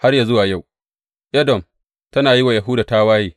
Har yă zuwa yau, Edom tana yi wa Yahuda tawaye.